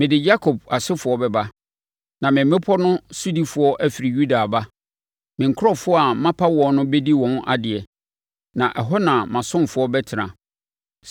Mede Yakob asefoɔ bɛba, na me mmepɔ no sodifoɔ afiri Yuda aba; me nkurɔfoɔ a mapa wɔn no bɛdi wɔn adeɛ, na ɛhɔ na mʼasomfoɔ bɛtena.